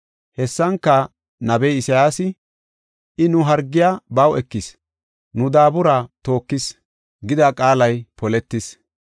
Hessanka nabiya Isayaasi, “I nu hargiya baw ekis, nu daabura tookis” gida qaalay poletis.